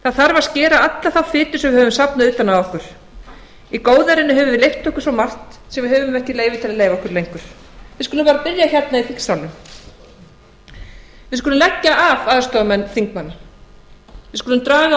það þarf að skera alla þá fitu sem við höfum safnað utan á okkur í góðærinu höfum við leyft okkur svo margt sem við höfum ekki leyfi til að leyfa okkur lengur við skulum bara byrja hérna í þingsalnum við skulum leggja af aðstoðarmenn þingmanna við skulum draga